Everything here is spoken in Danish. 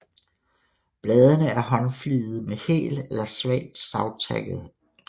Bladene er håndfligede med hel eller svagt savtakket rand